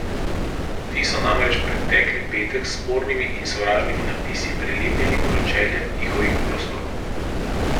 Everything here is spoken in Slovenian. Ti so namreč pretekli petek s spornimi in sovražnimi napisi prelepili pročelja njihovih prostorov.